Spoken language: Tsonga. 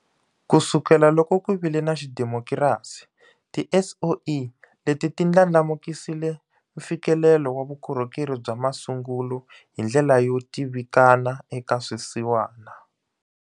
Kusukela loko ku vile na xidemokirasi, tiSOE leti ti ndlandlamukisile mfikelelo wa vukorhokeri bya masungulo hi ndlela yo tivikana eka swisiwana.